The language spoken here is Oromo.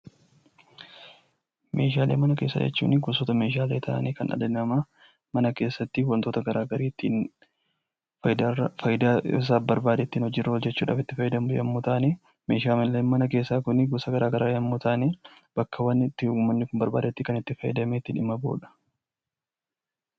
Meeshaalee mana keessaa jechuun gosoota meeshaalee ta'anii kan mana keessa wantoota garaagaraa ittiin fayidaa isaaf barbaade ittiin hojjatuuf itti fayyadamu yommuu ta'an, meeshaaleen mana keessaa kun gosa garaagaraa yoo ta'an bakkeewwan barbaadamanitti kan fayyadamanii dhimma itti bahanidha.